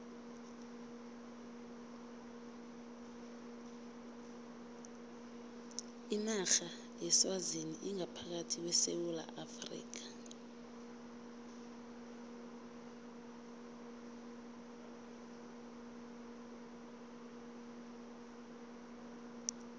inarha yeswazini ingaphakathi kwesewula afrika